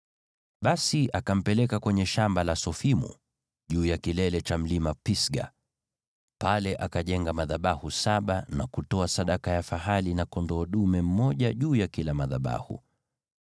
Basi akampeleka kwenye shamba la Sofimu, juu ya kilele cha Mlima Pisga. Pale akajenga madhabahu saba na kutoa sadaka ya fahali na kondoo dume mmoja juu ya kila madhabahu.